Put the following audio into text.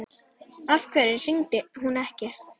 Af hverju hringdi hún ekki?